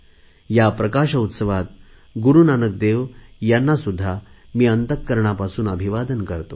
या प्रकाश उत्सवात गुरुनानक देव यांना सुध्दा मी अंतकरणापासून अभिवादन करतो